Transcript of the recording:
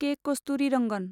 के. Kasturirangan